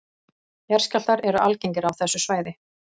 Jarðskjálftar eru algengir á þessu svæði